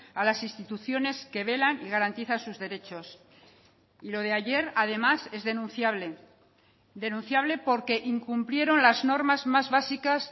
a las instituciones que velan y garantizan sus derechos y lo de ayer además es denunciable denunciable porque incumplieron las normas más básicas